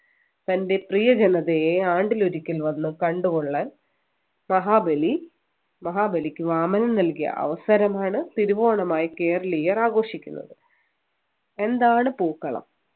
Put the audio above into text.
തൻ്റെ പ്രിയ ജനതയെ ആണ്ടിലൊരിക്കൽ വന്ന് കണ്ടുകൊള്ളാൻ മഹാബലി മഹാബലിക്ക് വാമനൻ നൽകിയ അവസരമാണ് തിരുവോണമായി കേരളീയർ ആഘോഷിക്കുന്നത് എന്താണ് പൂക്കളം